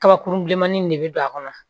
Kabakurun bilenmanin de bɛ don a kɔnɔ